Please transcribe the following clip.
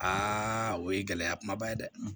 o ye gɛlɛya kumaba ye dɛ